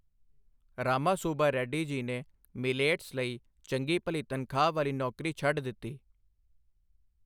ਰਾਮਾ ਸੁੱਬਾ ਰੈੱਡੀ ਜੀ ਨੇ ਮਿੱਲੇਟਸ ਲਈ ਚੰਗੀ ਭਲੀ ਤਨਖ਼ਾਹ ਵਾਲੀ ਨੌਕਰੀ ਛੱਡ ਦਿੱਤੀ।